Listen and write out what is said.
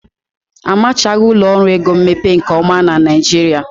Amachaghị ụlọ ọrụ ego mmepe nke ọma na Naịjirịa.